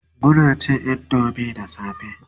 Muna cin indomie da safe